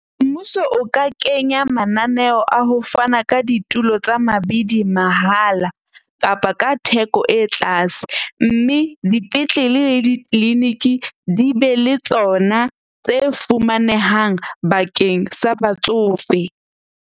Mmuso o ka kenya mananeo a ho fana ka ditulo tsa mabidi mahala kapa ka theko e tlase. Mme dipetlele le di-clinic-i di be le tsona tse fumanehang bakeng sa batsofe.